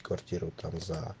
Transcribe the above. квартиру там за